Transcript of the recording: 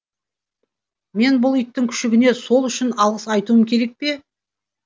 мен бұл иттің күшігіне сол үшін алғыс айтуым керек пе